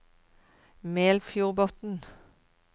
Melfjordbotn